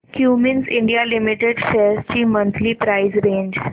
Cummins India limited shares ची monthly price range